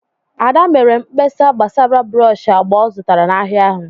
Ada mere mkpesa gbasara brọsh agba ọ zụtara n'ahịa ahụ.